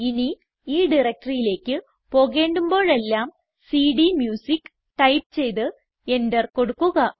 ഇനി ഈ directoryയിലേക്ക് പോകേണ്ടുമ്പോഴെല്ലാം സിഡിഎംയൂസിക്ക് ടൈപ്പ് ചെയ്ത് എന്റർ കൊടുക്കുക